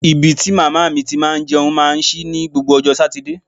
Ibi tí màmá mi ti máa ń jẹun máa ń ṣí ní gbogbo ọjọ́ Sátidé